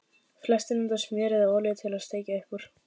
Flestir nota smjör eða olíu til að steikja upp úr.